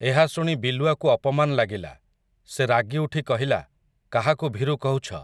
ଏହା ଶୁଣି ବିଲୁଆକୁ ଅପମାନ୍ ଲାଗିଲା, ସେ ରାଗିଉଠି କହିଲା, କାହାକୁ ଭୀରୁ କହୁଛ ।